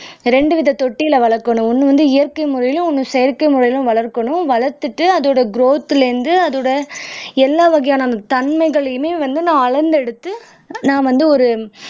ரெண்டு வித தொட்டியில வளக்கணும் ஒண்ணு வந்து இயற்கை முறையிலும் ஒண்ணு செயற்கை முறையிலும் வளர்க்கணும் வளர்த்துட்டு அதோட கிரௌத்ல இருந்து அதோட எல்லா வகையான தன்மைகளையுமே வந்து நான் அளந்தெடுத்து நான் வந்து ஒரு